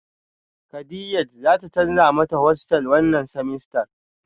Kadiaj zata canza mata hostel wannan semester